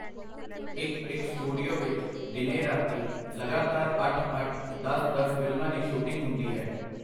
ਇਕ-ਇਕ studio ਵਿਚ ਦਿਨੇਂ-ਰਾਤੀਂ ਲਗਾਤਾਰ ਅੱਠ-ਅੱਠ, ਦਸ-ਦਸ ਫਿਲਮਾਂ ਦੀ ਸ਼ੂਟਿੰਗ ਹੁੰਦੀ ਹੈ.